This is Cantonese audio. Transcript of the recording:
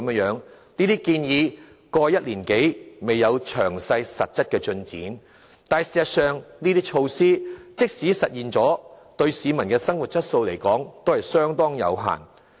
在過去1年多，這些建議沒有詳細實質進展，但事實上，這些措施即使實施了，對於改善市民生活質素的成效，卻仍相當有限。